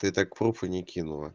ты так пруф и не кинула